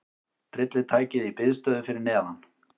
Tryllitækið í biðstöðu fyrir neðan.